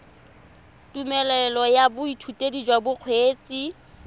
tumelelo ya boithutedi jwa bokgweetsi